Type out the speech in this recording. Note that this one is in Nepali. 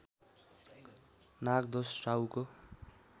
नागदोष राहुको